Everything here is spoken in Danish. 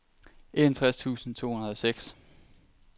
enogtres tusind to hundrede og seks